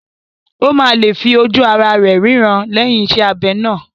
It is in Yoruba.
Ó máa lè fi ojú ará rẹ̀ rína lẹ́yìn iṣẹ́ abẹ náà